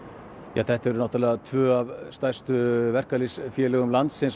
já þetta eru tvö af stærstu verkalýðsfélögum landsins